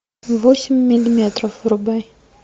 восемь миллиметров врубай